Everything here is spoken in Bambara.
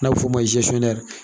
N'a bi f'o ma